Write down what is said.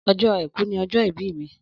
Ọjọ àìkú ni ọjọ ìbí mi.